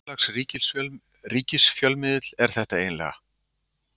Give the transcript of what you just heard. Hvers lags ríkisfjölmiðill er þetta eiginlega?